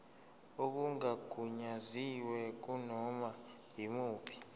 okungagunyaziwe kunoma yimuphi